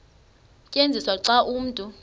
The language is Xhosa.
tyenziswa xa umntu